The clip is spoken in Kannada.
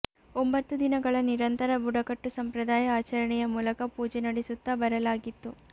ಒಂಬತ್ತು ದಿನಗಳ ನಿರಂತರ ಬುಡಕಟ್ಟು ಸಂಪ್ರದಾಯ ಆಚರಣೆಯ ಮೂಲಕ ಪೂಜೆ ನಡೆಸುತ್ತಾ ಬರಲಾಗಿತ್ತು